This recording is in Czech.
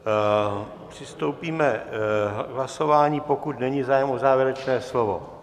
Přistoupíme k hlasování, pokud není zájem o závěrečné slovo.